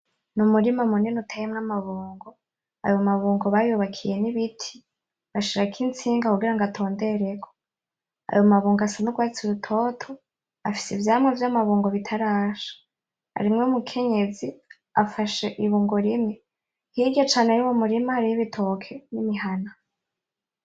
N'Umurima munini uteyemwo amabungo. Ayo mabungo bayubakiye n'ibiti bashirako itsinga kugira atondereko. Ayo mabungo asa n'urwatsi rutoto, afise ivyamwa vy'amabungo bitarasha. Harimwo umukenyezi afashe ibungo rimwe, hirya cane y'uwo murima hariyo ibitoke n'imihana.